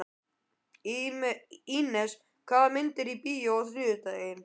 Ínes, hvaða myndir eru í bíó á þriðjudaginn?